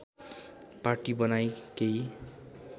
पाटी बनाई केही